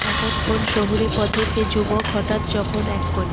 আপন শহুরে পথে সে যুবক হঠাৎ যখন এক কোণে